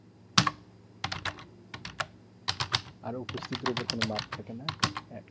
আর উপস্থিতির উপর কোনো marks থাকে না?